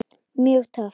Mjög töff.